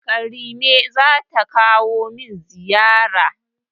Karime zata kawo min ziyara.